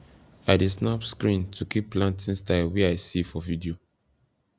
i dey snap screen to keep planting style wey i see for video